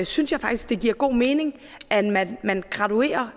synes jeg faktisk det giver god mening at man man graduerer